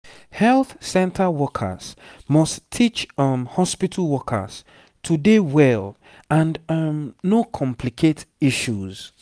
health center workers must teach um hospitu workers to dey well and um no complicate issues